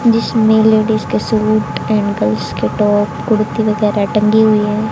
जिसमें लेडीज के suit and girls के टॉप कुर्ती वगैरा टंगी हुई है।